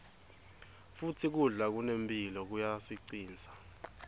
futsi kudla lokunemphilo kuyasicinsa